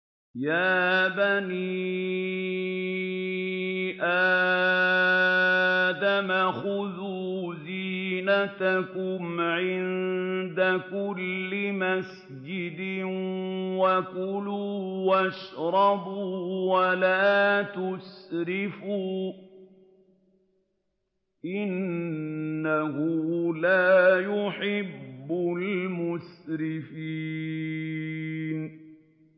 ۞ يَا بَنِي آدَمَ خُذُوا زِينَتَكُمْ عِندَ كُلِّ مَسْجِدٍ وَكُلُوا وَاشْرَبُوا وَلَا تُسْرِفُوا ۚ إِنَّهُ لَا يُحِبُّ الْمُسْرِفِينَ